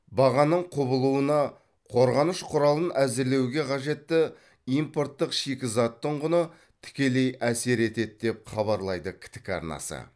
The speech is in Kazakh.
бағаның құбылуына қорғаныш құралын әзірлеуге қажетті импорттық шикізаттың құны тікелей әсер етеді деп хабарлайды ктк арнасы